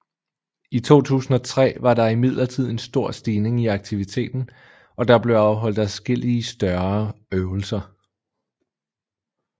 I 2003 var der imidlertid en stor stigning i aktiviteten og der blev afholdt adskillige større øvelser